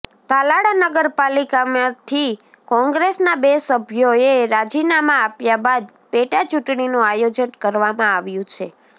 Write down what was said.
તાલાળા નગરપાલિકામાંથી કોંગ્રેસના બે સભ્યોએ રાજીનામા આપ્યા બાદ પેટા ચૂંટણીનું આયોજન કરવામાં આપ્યું છે